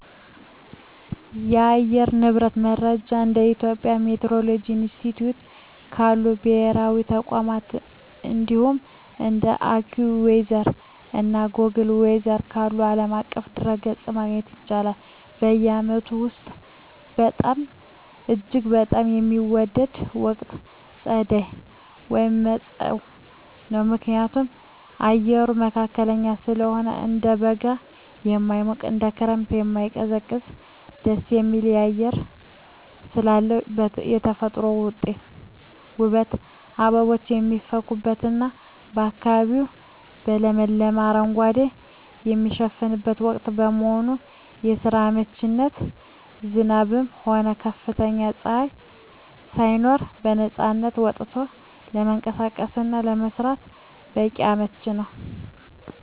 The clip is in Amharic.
የአየር ንብረት መረጃን እንደ የኢትዮጵያ ሚቲዎሮሎጂ ኢንስቲትዩት ካሉ ብሔራዊ ተቋማት፣ እንዲሁም እንደ AccuWeather እና Google Weather ካሉ ዓለም አቀፍ ድረ-ገጾች ማግኘት ይቻላል። በዓመቱ ውስጥ እጅግ በጣም የምወደው ወቅት ጸደይ (መጸው) ነው። ምክንያቱም፦ አየሩ መካከለኛ ስለሆነ፦ እንደ በጋ የማይሞቅ፣ እንደ ክረምትም የማይቀዘቅዝ ደስ የሚል አየር ስላለው። የተፈጥሮ ውበት፦ አበቦች የሚፈኩበትና አካባቢው በለመለመ አረንጓዴ የሚሸፈንበት ወቅት በመሆኑ። ለስራ አመቺነት፦ ዝናብም ሆነ ከፍተኛ ፀሐይ ሳይኖር በነፃነት ወጥቶ ለመንቀሳቀስና ለመስራት በጣም አመቺ ነው።